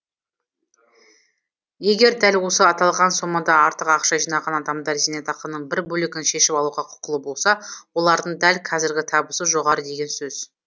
егер дәл осы аталған сомадан артық ақша жинаған адамдар зейнетақының бір бөлігін шешіп алуға құқылы болса олардың дәл қазіргі табысы жоғары деген сөз